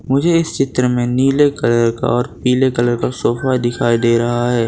मुझे इस चित्र में नीले कलर का और पीले कलर का सोफा दिखाई दे रहा है।